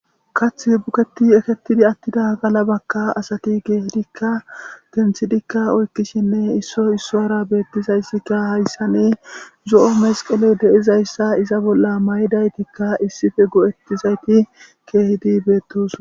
kaththi buketi ekettidi attida gala bakka asati geehidikka genthidikka oykkishinne isso issoyara beettizayssikka hayssane zo7o mesqeley deizayssa iza bolla mayidaytikka issife go7ettizayti keehidi beettos